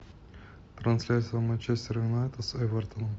трансляция манчестер юнайтед с эвертоном